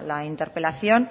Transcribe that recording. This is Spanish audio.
la interpelación